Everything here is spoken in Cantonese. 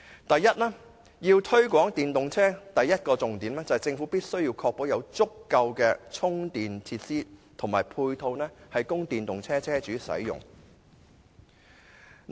第一，推廣電動車的第一個重點，在於政府必須確保有足夠的充電及配套設施，供電動車車主使用。